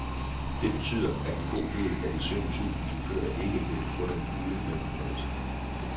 Det betyder, at en god del af de sytten tusind chauffører ikke vil få den fulde lønforhøjelse.